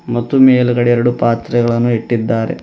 ಮತ್ತು ಮೇಲ್ಗಡೆ ಎರಡು ಪಾತ್ರೆಗಳನ್ನು ಇಟ್ಟಿದ್ದಾರೆ.